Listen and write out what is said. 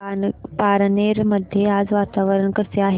पारनेर मध्ये आज वातावरण कसे आहे